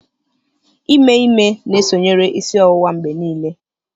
Ime ime na-esonyere isi ọwụwa mgbe niile